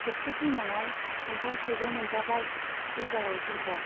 खेबसे फैनायाव खान्थाल थाइजौ मोनजाबाय, ऐइबाराव जुमब्रा।